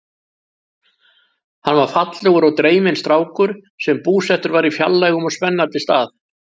Hann var fallegur og dreyminn strákur sem búsettur var á fjarlægum og spennandi stað.